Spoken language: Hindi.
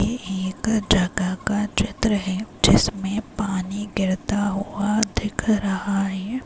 ये एक जगह का चित्र है जिसमें पानी गिरता हुआ दिख रहा है।